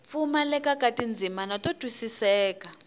pfumaleka ka tindzimana to twisiseka